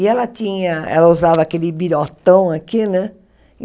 E ela tinha... ela usava aquele birotão aqui, né?